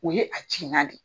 O ye a de ye.